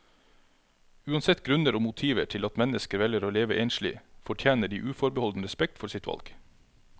Uansett grunner og motiver til at mennesker velger å leve enslig, fortjener de uforbeholden respekt for sitt valg.